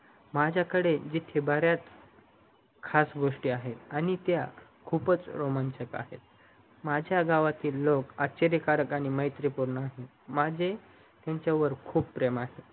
माझ्या कडे इथे बर्‍यात खास गोष्टी आहेत आणि त्या खूपच रोमांचक आहेत माझ्या गावातील लोक आश्चर्य कारक आणि मैत्री पूर्ण आहेत माझे त्यांच्या वर खूप आहे